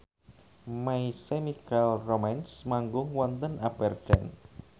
My Chemical Romance manggung wonten Aberdeen